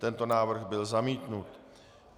Tento návrh byl zamítnut.